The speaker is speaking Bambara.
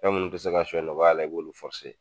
Fɛn minnu bi se ka suɲɛ nɔgɔya la i b'olu